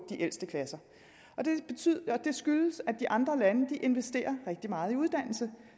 de ældste klasser det skyldes at de andre lande investerer rigtig meget i uddannelse